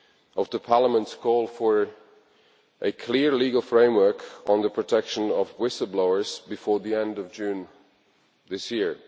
of Parliament's call for a clear legal framework on the protection of whistle blowers before the end of June this year.